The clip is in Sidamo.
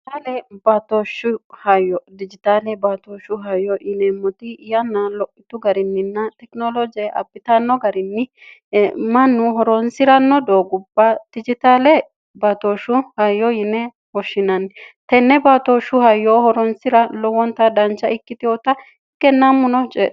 aale baatooshshu hayyo dijitaale baatooshshu hayo yineemmoti yanna lo'ittu gariinninna tekinoloje apitanno gariinni mannu horoonsi'ranno doo gubba dijitaale baatooshshu hayo yine hoshshinanni tenne baatooshshu hayyoo horoonsira lowwonta dancha ikkitihoota kennammu noceo